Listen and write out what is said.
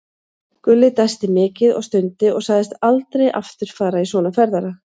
Gulli dæsti mikið og stundi og sagðist aldrei aftur fara í svona ferðalag.